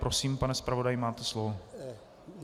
Prosím, pane zpravodaji, máte slovo.